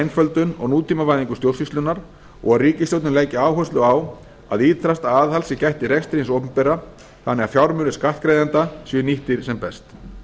einföldun og nútímavæðingu stjórnsýslunnar og að ríkisstjórnin leggi áherslu á að ýtrasta aðhalds sé gætt í rekstri hins opinbera þannig að fjármunir skattgreiðenda séu nýttir sem best